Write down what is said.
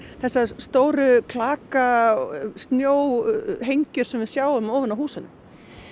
þessar stóru klaka snjóhengjur sem við sjáum ofan á húsunum